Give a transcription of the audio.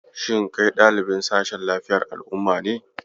Shin kai ɗalibin sashen lafiyar al'umma ne?